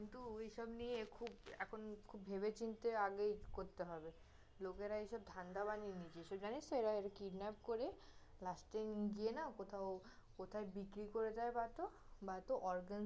কিন্তু ওইসব নিয়ে খুব এখন খুব ভেবেচিন্তে আগেই করতে হবে, লোকেরা এসব ধান্দা বানিয়ে নিয়েছে, জানিস তহ এরা kidnap করে last এ নিয়ে গিয়ে না, কোথাও, কোথায় বিক্রি করে দে বা তহ, বা তহ organ